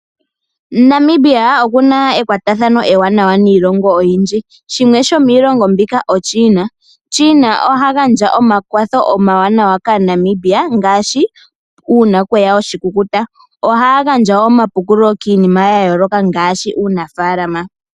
Namibia okuna ekwatathano ewanawa niilongo oyindji shimwe shomilongo mbino oChina. China oha gandja omakwatho omawanawa kAanamibia ngaashi uuna kweya oshikukuta ohaya gandja omapukululo kiinima yayooloka ngaashi kuunafalama.